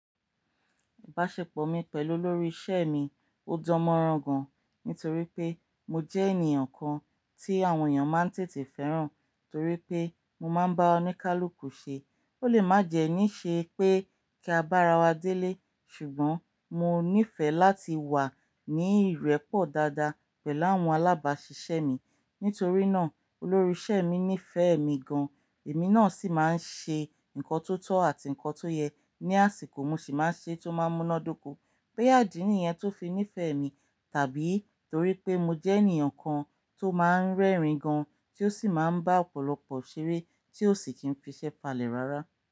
Ìbáṣepọ̀ mi pẹ̀lú olórí iṣẹ́ mi ò dán mọrán gan-an nítorí pé mo jẹ́ ènìyàn kan tí àwọn èèyàn máa ń tètè fẹ́ràn torí pé mo máa ń bá oníkálukú ṣe. Ó lè májẹ̀ẹ́ ní ṣe pé kí a bá ara wa délé, ṣùgbọ́n mo nífẹ̀ẹ́ láti wà ní ìrẹ́pọ̀ dáadáa pẹ̀lú àwọn alábáṣiṣẹ́ mi. Nítorí náà, olórí iṣẹ́ mi nífẹ̀ẹ́ mi gan-an, èmi náà sì máa ń ṣe nǹkan tó tọ̀ àti nǹkan tó yẹ. Ni àsìkò, mo sì máa ń ṣe tó máa ń múná dóko. Bóyá ìdí ní ìyẹn tó fi nífẹ̀ẹ́ mi tàbí torí pé mo jẹ́ ènìyàn kan tó máa ń rẹ́rìn-ín gan-an tí ó sì máa ń bá ọ̀pọ̀lọpọ̀ ṣeré tí ó sì ti ń fi ṣẹ falẹ̀ rárá.